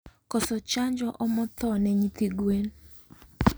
Koso chanjo omo thoo ne nyithi gwen